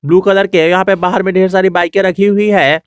Blue colour के यहां पे बाहर में ढेर सारी बाईकें रखी हुई है।